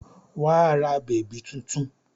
Wà á ra bèbí tuntun!